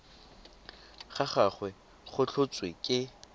ga gagwe go tlhotswe ke